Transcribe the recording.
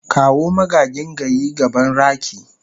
kawo magagin gayi gaban raki.